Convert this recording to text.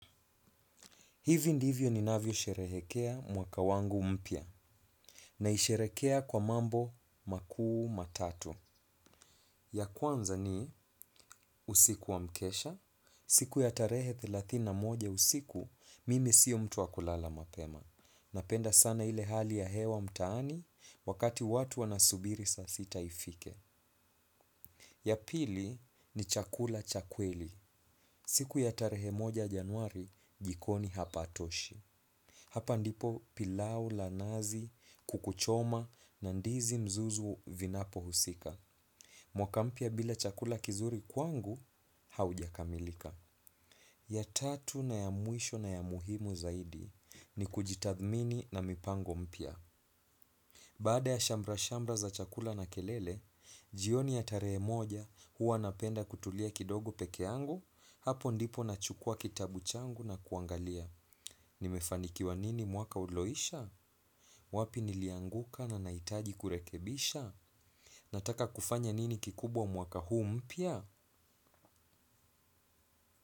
Hivi ndivyo ninavyosherehekea mwaka wangu mpya. Naisherekea kwa mambo makuu matatu. Ya kwanza ni usiku wa mkesha. Siku ya tarehe thelathini na moja usiku, mimi siyo mtu wa kulala mapema. Napenda sana ile hali ya hewa mtaani, wakati watu wanasubiri saa sita ifike. Ya pili ni chakula cha kweli. Siku ya tarehe moja januari, jikoni hapatoshi. Hapa ndipo pilau la nazi kuku choma na ndizi mzuzu vinapohusika. Mwaka mpya bila chakula kizuri kwangu haujakamilika. Ya tatu na ya mwisho na ya muhimu zaidi ni kujitathmini na mipango mpya. Baada ya shambra-shamra za chakula na kelele, jioni ya tarehe moja huwa napenda kutulia kidogo pekeangu hapo ndipo nachukua kitabu changu na kuangalia. Nimefanikiwa nini mwaka uloisha? Wapi nilianguka na naitaji kurekebisha? Nataka kufanya nini kikubwa mwaka huu mpya?